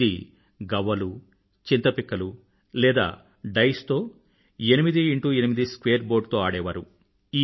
ఇది గవ్వలు చింతపిక్కలు లేదా డైస్ తో 8×8 స్క్వేర్ బోర్డ్ తో ఆడేవారు